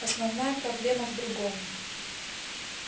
основная проблема в другом